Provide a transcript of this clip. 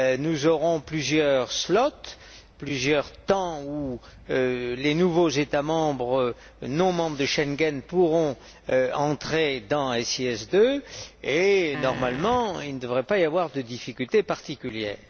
Nous aurons plusieurs slots, plusieurs périodes où les nouveaux États membres non membres de Schengen pourront entrer dans SIS II et, normalement, il ne devrait pas y avoir de difficultés particulières.